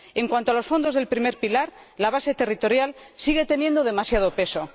En cuanto a los fondos del primer pilar, la base territorial sigue teniendo demasiado peso